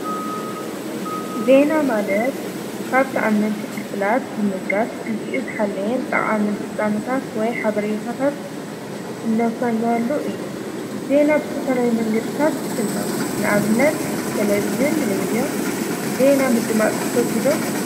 ዜና ማለት ካብቲኣነንቲ ፍልፍላት ብምጋስ ጊዜ እዝኃለየን ጠቓምን ፍጻመታት ወይ ሓበሬታታት እነፈኖወሉ እዩ። ዜና ብሰፈለይ መንገድታት ይፍኖ ንኣብነት ተለብዝን ሬድዮ ዜና ምድማፅ ቲፈትው ዶ?